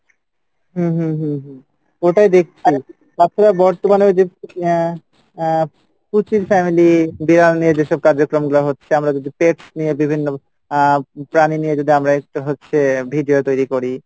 হম হম হম হম ওটাই দেখছি তারপরে বর্তমানে ওই যে আহ আহ পুচির family বিড়াল নিয়ে যেসব কার্যক্রম গুলা হচ্ছে আমরা যদি pets নিয়ে বিভিন্ন আহ প্রাণী নিয়ে যদি আমরা একটু হচ্ছে video তৈরি করি,